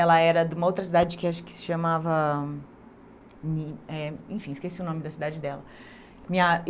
Ela era de uma outra cidade que acho que se chamava... hum, eh, Enfim, esqueci o nome da cidade dela. Minha